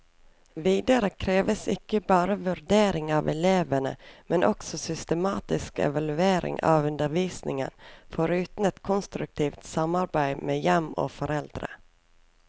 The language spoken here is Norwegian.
Videre kreves ikke bare vurdering av elevene, men også systematisk evaulering av undervisningen, foruten et konstruktivt samarbeid med hjem og foreldre.